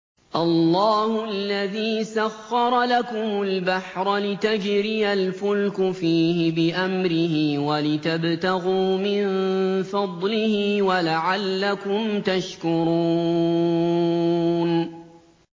۞ اللَّهُ الَّذِي سَخَّرَ لَكُمُ الْبَحْرَ لِتَجْرِيَ الْفُلْكُ فِيهِ بِأَمْرِهِ وَلِتَبْتَغُوا مِن فَضْلِهِ وَلَعَلَّكُمْ تَشْكُرُونَ